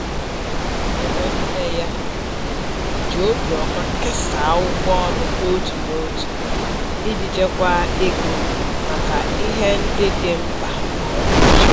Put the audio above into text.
Ụmụnne ya ji obiọma kesaa ụgwọ ụlọ n'otu n'otu iji chekwaa ego maka ihe ndị dị mkpa kwa ụbọchị.